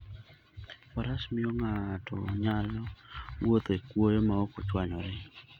Faras miyo ng'ato nyalo wuotho e kwoyo maok ochwanyore.